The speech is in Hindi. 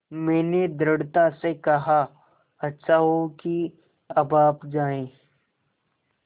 मैंने दृढ़ता से कहा अच्छा हो कि अब आप जाएँ